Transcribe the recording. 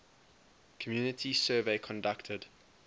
community survey conducted